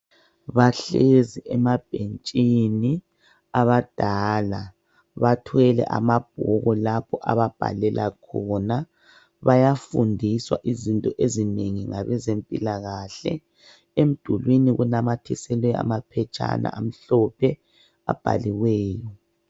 Bahlezi emabhentshini abadala bathwele amabhuku lapho ababhalela khona bayafundiswa izinto ezinengi ngabezempilakahle emdulwini kunamathiselwe amaphetshana amhlophe abhaleliweyo.